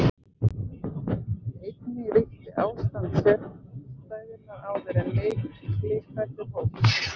Einnig ríkti ástand sérstæðunnar áður en Miklihvellur hófst.